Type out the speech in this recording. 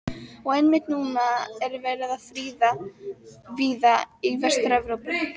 Og einmitt núna er verið að friða víða í Vestur-Evrópu.